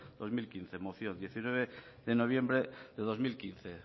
de dos mil quince moción diecinueve de noviembre de dos mil quince